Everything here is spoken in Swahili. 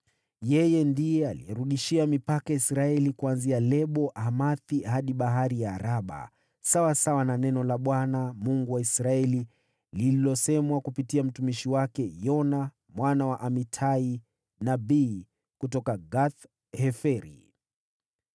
Ndiye alirudishia mipaka ya Israeli kuanzia Lebo-Hamathi hadi Bahari ya Araba, sawasawa na neno la Bwana , Mungu wa Israeli, lililosemwa kupitia mtumishi wake Yona mwana wa Amitai, nabii kutoka Gath-Heferi.